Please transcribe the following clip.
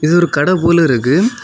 இது ஒரு கடை போல இருக்கு.